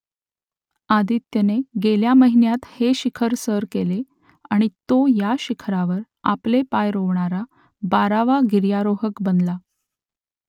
आदित्यने गेल्या महिन्यात हे शिखर सर केले आणि तो या शिखरावर आपले पाय रोवणारा बारावा गिर्यारोहक बनला